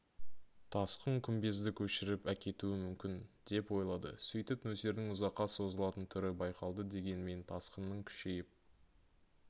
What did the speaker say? тасқын күмбезді көшіріп әкетуі мүмкін деп ойлады сөйтіп нөсердің ұзаққа созылатын түрі байқалды дегенмен тасқынның күшейіп